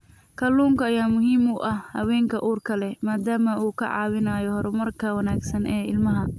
Kalluunka ayaa muhiim u ah haweenka uurka leh maadaama uu ka caawinayo horumarka wanaagsan ee ilmaha.